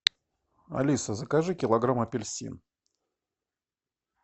алиса закажи килограмм апельсин